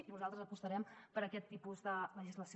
i nosaltres apostarem per aquest tipus de legislació